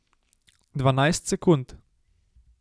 Dvanajst sekund.